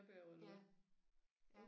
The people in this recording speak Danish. Ja. Ja